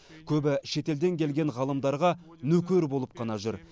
көбі шетелден келген ғалымдарға нөкер болып қана жүр